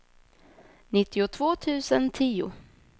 nittiotvå tusen tio